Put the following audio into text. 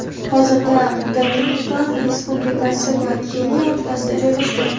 hozirda Dominikan Respublikasi va Keniya o‘rtasida joylashgan.